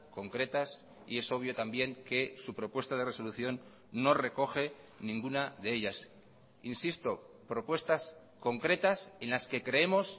concretas y es obvio también que su propuesta de resolución no recoge ninguna de ellas insisto propuestas concretas en las que creemos